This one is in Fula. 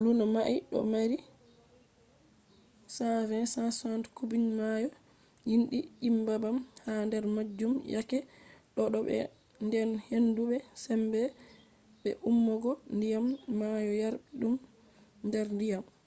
luno mai do maari 120-160 cubic maayo gimdi je nyebbam ha der majum yake do’e bo den hendu be sembe be ummugo diyam maayo yarbi dum der diyam